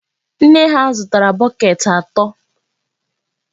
Nne ha zụtara bọket ato.